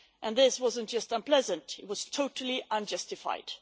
This wasn't just unpleasant, it was totally unjustified.